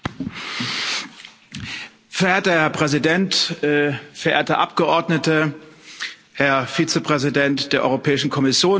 Verehrter Herr Präsident, verehrte Abgeordnete, Herr Vizepräsident der Europäischen Kommission, meine sehr verehrten Damen und Herren!